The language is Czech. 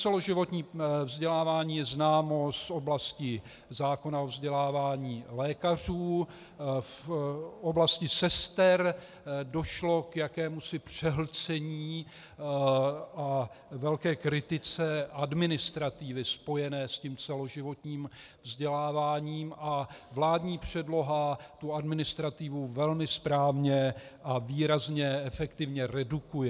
Celoživotní vzdělávání je známo z oblasti zákona o vzdělávání lékařů, v oblasti sester došlo k jakémusi přehlcení a velké kritice administrativy spojené s tím celoživotním vzděláváním a vládní předloha tu administrativu velmi správně a výrazně efektivně redukuje.